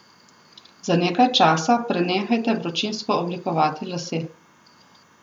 Za nekaj časa prenehajte vročinsko oblikovati lase.